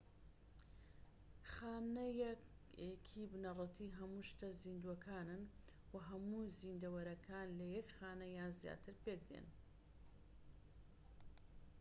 خانە یەکەیەکی بنەڕەتی هەموو شتە زیندووەکانن و هەموو زیندەوەرەکان لە یەک خانە یان زیاتر پێکدێن